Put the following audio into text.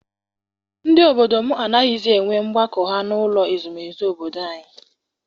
Ndị obodo m anaghịzi enwe ọgbakọ ha n’ụlọ ezumezu obodo anyị.